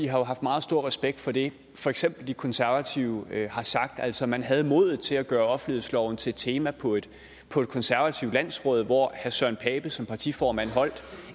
har jo haft meget stor respekt for det for eksempel de konservative har sagt altså man havde modet til at gøre offentlighedsloven til et tema på et konservativt landsråd hvor herre søren pape poulsen som partiformand holdt